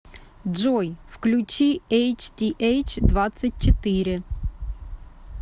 джой включи эйч ти эйч двадцать четыре